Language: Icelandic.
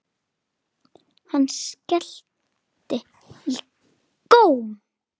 Hann skellti í góm.